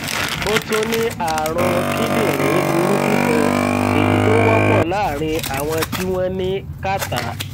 ó tún ní ààrùn kíndìnrín burúkú kan èyí tó wọpọ láàárín àwọn tí wọn ní kàtá